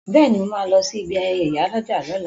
Bẹ́ẹ̀ni, mo máa lọ sí ibi ayẹyẹ ìyálọ́jà lóla